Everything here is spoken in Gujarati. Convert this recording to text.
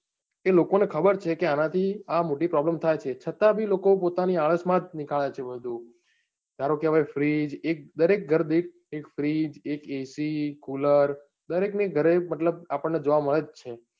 કે લોકોને ખબર છે કે, અને થી આ મોટી problem થાય છે છતાં બી લોકો પોતાની આળસ માં જ નીકળે છે બધું. કારણકે હવે freeze, દરેક ઘર દીઠ એક freeze, એક ac, cooler દરેક ની ઘરે મતલબ આપડ ને જોવા મળે જ છે.